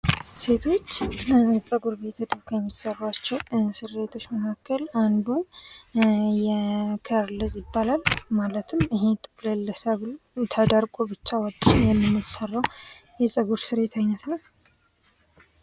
ሴቶች ጸጉር ቤት ሄደው ከሚሰሯቸው ስሬቶች መካከል አንዱ ከርልዝ ይባላል ማለትም ይሄ ጥቅልል ተደርጎ ብቻ የምንሰራው የጸጉር ስሬት አይነት ነው።